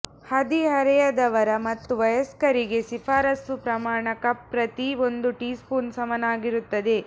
ಹದಿಹರೆಯದವರು ಮತ್ತು ವಯಸ್ಕರಿಗೆ ಶಿಫಾರಸು ಪ್ರಮಾಣ ಕಪ್ ಪ್ರತಿ ಒಂದು ಟೀಸ್ಪೂನ್ ಸಮನಾಗಿರುತ್ತದೆ